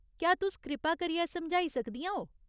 क्या तुस कृपा करियै समझाई सकदियां ओ ?